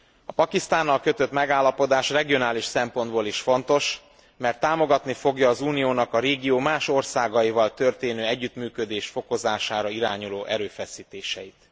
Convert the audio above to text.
A Pakisztánnal kötött megállapodás regionális szempontból is fontos, mert támogatni fogja az Uniónak a régió más országaival történő együttműködés fokozására irányuló erőfeszítéseit.